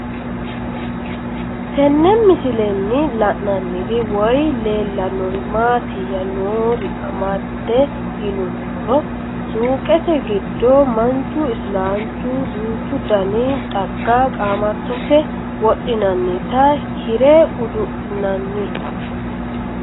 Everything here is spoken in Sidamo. Tenne misilenni la'nanniri woy leellannori maattiya noori amadde yinummoro suuqqette giddo manchu isilaanchu duuchu danni xagga qaamattotte wodhinaannitta hirre udu'linnanni